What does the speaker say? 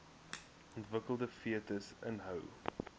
ontwikkelende fetus inhou